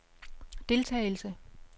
deltagelse